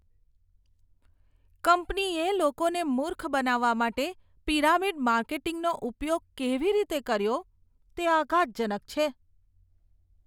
કંપનીએ લોકોને મૂર્ખ બનાવવા માટે પિરામિડ માર્કેટિંગનો ઉપયોગ કેવી રીતે કર્યો તે આઘાતજનક છે.